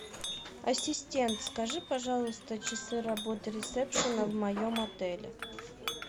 ассистент скажи пожалуйста часы работы ресепшена в моем отеле